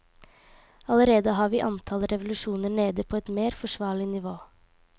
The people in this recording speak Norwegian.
Allerede har vi antall revolusjoner nede på et mer forsvarlig nivå.